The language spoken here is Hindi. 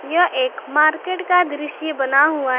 यह एक मार्केट का दृश्य बना हुआ है।